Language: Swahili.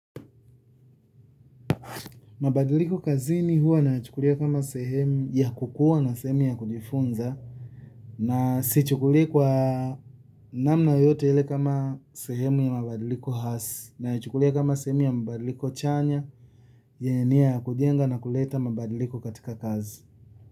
Mabadiliko kazini huwa nayachukulia kama sehemu ya kukuwa na sehemu ya kujifunza na sichukuli kwa namna yoyote ile kama sehemu ya mabadiliko hasi. Nayachukulia kama sehemu ya mabadiliko chanya yenye nia ya kujenga na kuleta mabadiliko katika kazi.